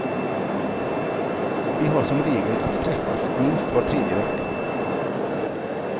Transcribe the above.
Vi har som regel att träffas minst var tredje vecka.